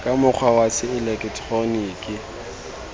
ka mokgwa wa se eleketeroniki